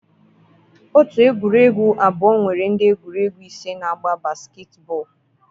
otu egwuregwu abụọ nwere ndị egwuregwu ise na-agba basketball.